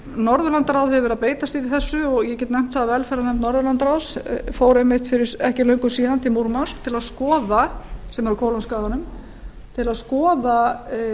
norðurlandaráð hefur verið að beita sér í þessu og ég get nefnt að velferðarnefnd norðurlandaráðs fór einmitt ekki fyrir löngu síðan til múrmansk sem er á kólaskaganum til að skoða